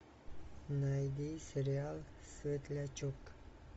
найди сериал светлячок